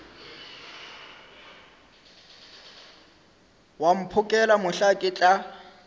wa mphokela mohla ke tla